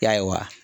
Yaliwa